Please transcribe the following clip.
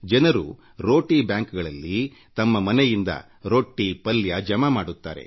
ಜನರು ರೋಟಿ ಬ್ಯಾಂಕ್ಗಳಲ್ಲಿ ತಮ್ಮ ಮನೆಯಲ್ಲಿ ಉಳಿದ ರೊಟ್ಟಿ ಪಲ್ಯ ಜಮಾ ಮಾಡುತ್ತಾರೆ